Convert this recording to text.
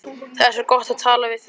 Það er svo gott að tala við þig.